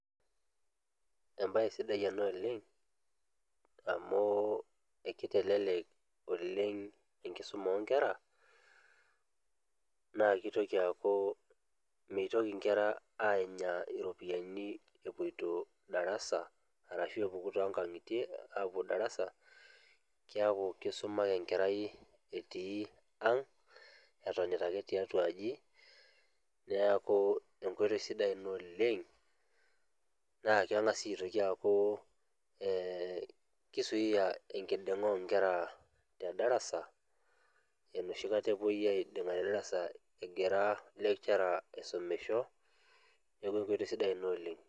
Emabaye sidai ena oleng' amu ekitelelek oleng' enkisuma oonkera naa mitoki menya nkera aanya iropiyiani epoito darasa arashu epuku toonkang'itie aapuo darasa keeku keisuma ake enkerai etii ang' etonita ake tiatua aji, neeku enkoitoi sidai ina oleng' naa keng'as sii aaku kizuia enkiding'a oonkera te darasa enoshikata epuoi aiding'a te darasa egira lecturer aisumisho neeku enkoitoi sidai ina oleng'.